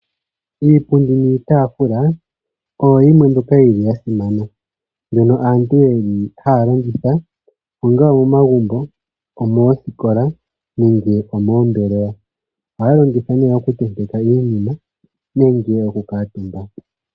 Iipundi niitaafula oyo yimwe mbyoka yili yasimana mbyono aantu yeli hayalongitha momagumbo, moosikola nenge omoombelewa, ohaya longitha nee okutenteka iinima nenge okukuutumba.